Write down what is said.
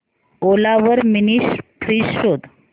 ओला वर mini fridge शोध